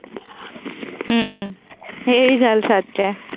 ਹੂੰ। ਇਹੀ ਗੱਲ ਸੱਚ ਏ।